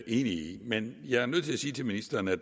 i men jeg er nødt til at sige til ministeren at